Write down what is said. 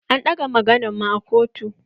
An ɗaga maganan mu a kotu.